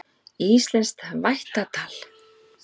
Íslenskt vættatal.